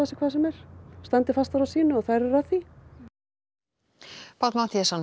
sér hvað sem er standi fastar á sínu og þær eru að því Páll Matthíasson